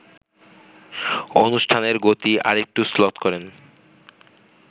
অনুষ্ঠানের গতি আরেকটু শ্লথ করেন